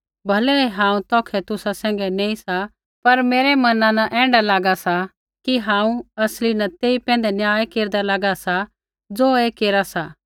भलै ही हांऊँ तौखै तुसा सैंघै नैंई सा पर मेरै मना न ऐण्ढा लागा सा कि हांऊँ असली न तेई पैंधै न्याय केरदा लागा सा ज़ो ऐ केरा सा